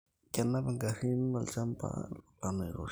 Kenap igarin olchamban lolan oiroshi